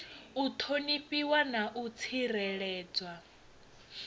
u ṱhonifhiwa na u tsireledzwa